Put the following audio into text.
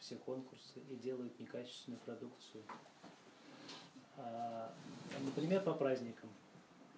все конкурсы и делают некачественную продукцию например по праздникам